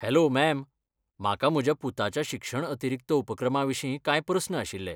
Hello, ma'am, म्हाका म्हज्या पुताच्या शिक्षण अतिरिक्त उपक्रमाविशीं कांय प्रस्न आशिल्ले.